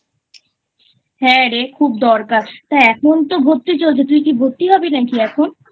হ্যাঁ রে খুব দরকার তো এখন তো ভর্তি চলছে তুই কি ভর্তি হবি নাকি এখন?